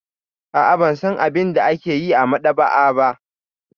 A'a, ban san abin da ake yi a maɗaba'a ba.